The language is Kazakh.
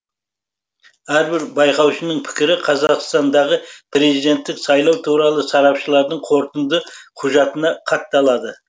әрбір байқаушының пікірі қазақстандағы президенттік сайлау туралы сарапшылардың қорытынды құжатына хатталады